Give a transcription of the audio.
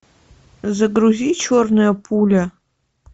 загрузи черная пуля